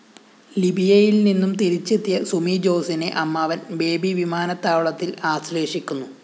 ലിബിയയില്‍നിന്നും തിരിച്ചെത്തിയ സുമി ജോസിനെ അമ്മാവന്‍ ബേബി വിമാനത്താവളത്തില്‍ ആശ്ലേഷിക്കുന്നു